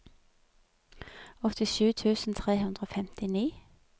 åttisju tusen tre hundre og femtini